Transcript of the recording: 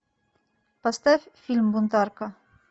поставь фильм бунтарка